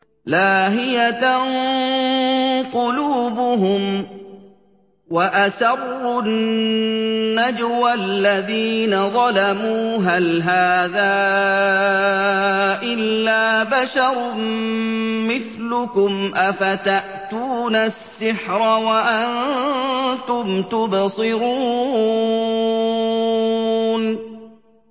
لَاهِيَةً قُلُوبُهُمْ ۗ وَأَسَرُّوا النَّجْوَى الَّذِينَ ظَلَمُوا هَلْ هَٰذَا إِلَّا بَشَرٌ مِّثْلُكُمْ ۖ أَفَتَأْتُونَ السِّحْرَ وَأَنتُمْ تُبْصِرُونَ